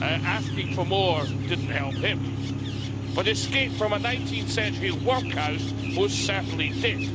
Asking for more didn't help him, but escape from a 19th century workhouse most certainly did.